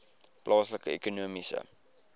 plaaslike ekonomiese